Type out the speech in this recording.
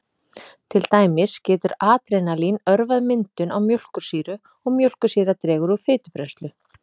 Til dæmis getur adrenalín örvað myndun á mjólkursýru og mjólkursýra dregur úr fitubrennslu.